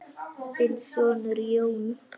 Þinn sonur, Jón.